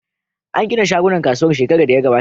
An gina shagunan kasuwar shekara da ya gabata.